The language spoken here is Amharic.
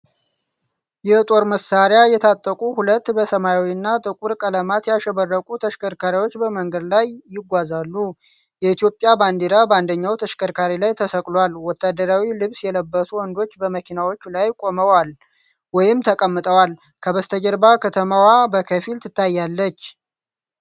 የጦር መሣሪያ የታጠቁ ሁለት በሰማያዊና ጥቁር ቀለማት ያሸበረቁ ተሽከርካሪዎች በመንገድ ላይ ይጓዛሉ። የኢትዮጵያ ባንዲራ በአንደኛው ተሽከርካሪ ላይ ተሰቅሏል። ወታደራዊ ልብስ የለበሱ ወንዶች በመኪኖቹ ላይ ቆመዋል ወይም ተቀምጠዋል። ከበስተጀርባ ከተማዋ በከፊል ትታያለች።